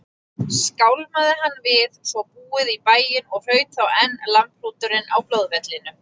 Skálmaði hann við svo búið í bæinn og hraut þá enn lambhrúturinn á blóðvellinum.